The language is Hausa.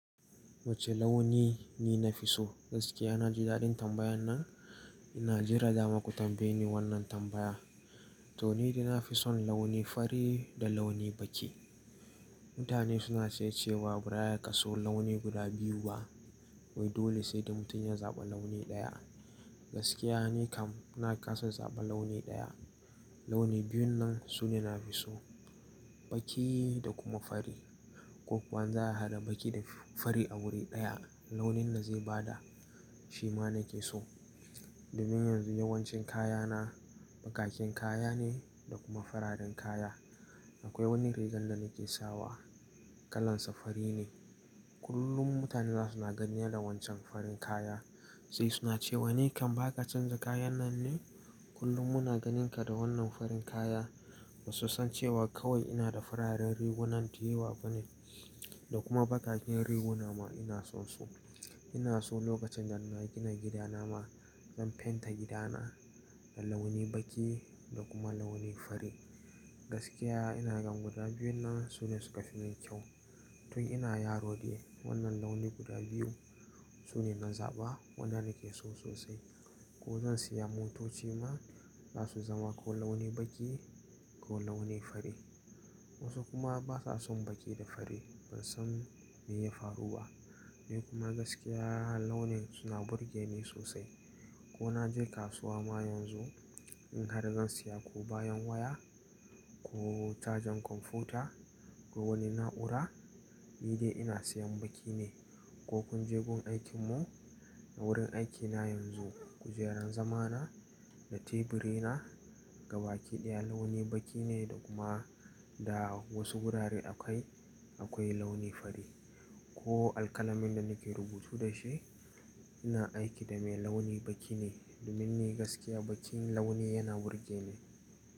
Wace launi ni nafi so? Gaskiya na ji daɗin tambayan nan. Ina jira dama ku tambaye ni wannan tambaya. To ni dai na fi son launi fari da launi baki. Mutane suna ce cewa baya ka so launi guda biyu ba, wai dole sai da mutum ya zaɓa launi ɗaya. Gaskiya ni kam na ƙasa zaɓa launi ɗaya. Launi biyun nan sune nafi so, baki da kuma fari. Ko kwan za a haɗa baki da fari a wuri ɗaya launin da zai bada shi ma nake so. Domin yanzu yawancin kayana bakaken kaya ne da kuma fararen kaya. Akwai wani rigar da nake sawa, kalan sa fari ne. Kullum mutane za suna gani na da wancan farin kaya. Sai suna cewa “Ni kam baka canza kayan nan ne? Kullum muna ganinka da wannan farin kaya.” Ba su san cewa kawai ina da fararen rigunan da yawa ba ne. Da kuma bakaken riguna ma ina son su. Ina so lokacin da na gina gidana ma zan fenta gidana da launi baki da kuma launi fari. Gaskiya ina gan guda biyun nan sune suka fi min kyau. Tun ina yaro ne wannan launi guda biyu sune na zaɓa. Wanda nake so sosai. Ko zan siya motoci ma za su zama ko launi baki ko launi fari. Wasu kuma basa son baki da fari. Ban san me ya faru ba. Ni kuma gaskiya launin suna burge ni sosai. Ko na je kasuwa ma yanzu in har zan siya ko bayan waya ko cajan kwamfuta ko wani na'ura, ni dai ina siyan baki ne. Ko kunje gun aikin mu a wurin aikina yanzu, kujeran zamana da teburi na gaba kiɗiya launi baki ne da kuma da wasu wurare akai akwai launi fari. Ko alƙalamin da nake rubutu dashi ina aiki da mai launi baki ne. Domin ni gaskiya bakin launi yana burge ni.